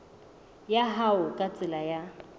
ya hao ka tsela ya